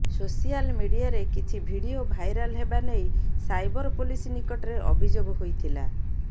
social ମିଡିଆରେ କିଛି video viral ହେବା ନେଇ ସାଇବର ପୋଲିସ ନିକଟରେ ଅଭିଯୋଗ ହୋଇଥିଲା